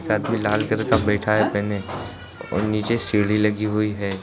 एक आदमी लाल कलर का बैठा है पहने और नीचे सीढ़ी लगी हुई है।